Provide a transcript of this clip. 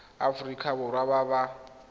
ba aforika borwa ba ba